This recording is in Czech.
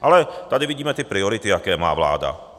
Ale tady vidíme ty priority, jaké má vláda.